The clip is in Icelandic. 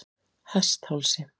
Hesthálsi